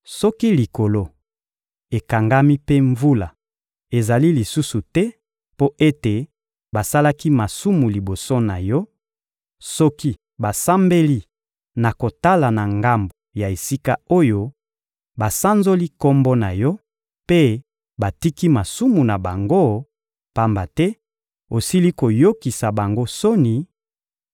Soki likolo ekangami mpe mvula ezali lisusu te mpo ete basalaki masumu liboso na Yo, soki basambeli na kotala na ngambo ya esika oyo, basanzoli Kombo na Yo mpe batiki masumu na bango, pamba te osili koyokisa bango soni,